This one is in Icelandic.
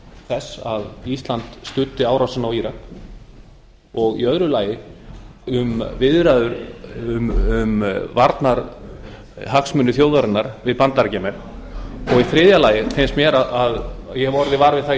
þess að ísland studdi árásina á írak og í öðru lagi um viðræður um varnarhagsmuni þjóðarinnar við bandaríkjamenn og í þriðja lagi finnst mér að ég hafi orðið var við það í